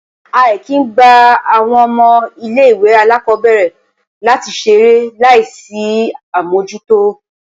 A kìí ń gba àwọn ọmọ ilé-ìwé alákọ́bẹ̀rẹ̀ láti ṣeré láì sí àmójútó